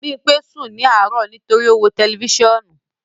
Bimpe sun ni aro nitori o n wo telifisiọnu